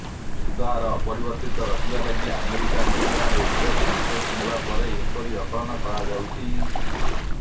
ସୁଧ ହାର ଅପରିବର୍ତ୍ତିତ ରଖିବା ଲାଗି ଆମେରିକା ଫେଡେରାଲ ରିଜର୍ଭ ନିଷ୍ପତି ନେବା ପରେ ଏପରି ଆକଳନ କରାଯାଉଛି